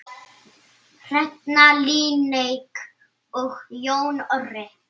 Hrefna Líneik og Jón Orri.